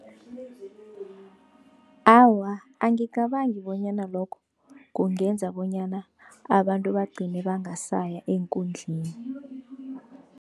Awa, angicabangi bonyana lokho kungenza bonyana abantu bagcine bangasaya eenkundleni.